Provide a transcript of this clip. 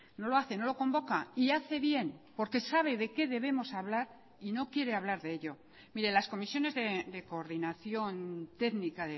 no lo hace no lo convoca y hace bien porque sabe de qué debemos hablar y no quiere hablar de ello mire las comisiones de coordinación técnica